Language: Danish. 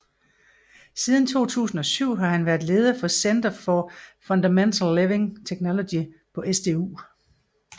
Siden 2007 har han været leder af Center for Fundamental Living Technology på SDU